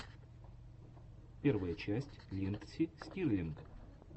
первая часть линдси стирлинг